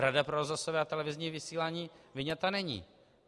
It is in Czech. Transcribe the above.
Rada pro rozhlasové a televizní vysílání vyňata není.